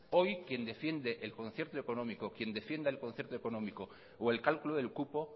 hoy quien defiende el concierto económico quien defienda el concierto económico o el cálculo del cupo